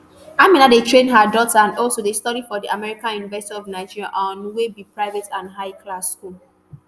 amina dey train her daughter and also dey study for di american university of nigeria aun wey be private and high class school